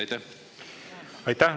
Aitäh!